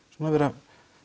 vera